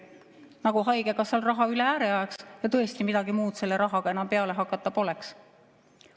Nagu haigekassal raha üle ääre ajaks ja tõesti midagi muud selle rahaga enam peale hakata poleks.